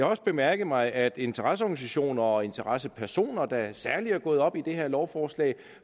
også bemærket mig at interesseorganisationer og interessepersoner der særlig er gået op i det her lovforslag